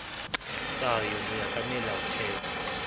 tayo ho ya ka melaotheo